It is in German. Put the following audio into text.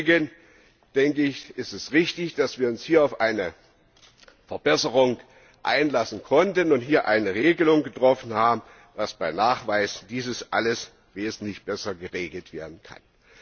Deswegen ist es richtig, dass wir uns hier auf eine Verbesserung einlassen konnten und eine Regelung getroffen haben, dass dies bei Nachweis alles wesentlich besser geregelt werden kann.